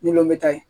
Ni lɔn bɛ ta ye